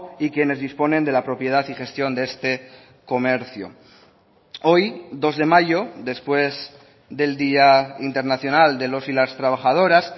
y quienes disponen de la propiedad y gestión de este comercio hoy dos de mayo después del día internacional de los y las trabajadoras